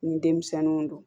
Ni denmisɛnninw don